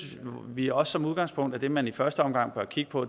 vi også som udgangspunkt at det som man i første omgang bør kigge på